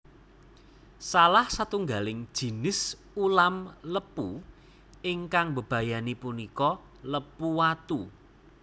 Salah satunggaling jinis ulam lepu ingkang mbebayani punika lepu watu